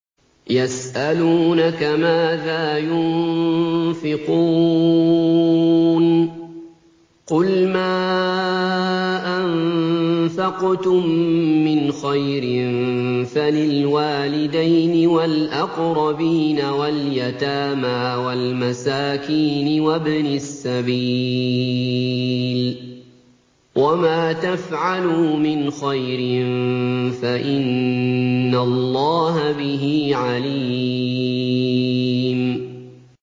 يَسْأَلُونَكَ مَاذَا يُنفِقُونَ ۖ قُلْ مَا أَنفَقْتُم مِّنْ خَيْرٍ فَلِلْوَالِدَيْنِ وَالْأَقْرَبِينَ وَالْيَتَامَىٰ وَالْمَسَاكِينِ وَابْنِ السَّبِيلِ ۗ وَمَا تَفْعَلُوا مِنْ خَيْرٍ فَإِنَّ اللَّهَ بِهِ عَلِيمٌ